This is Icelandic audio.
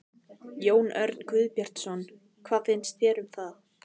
Jón Örn Guðbjartsson: Hvað finnst þér um það?